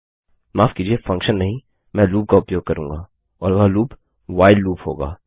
माफ कीजिए फंक्शन नहीं मैं लूप का उपयोग करूँगा और वह लूप व्हाइल लूप होगा